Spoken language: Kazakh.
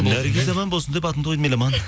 наргиз аман болсын деп атыңды қойдым еламан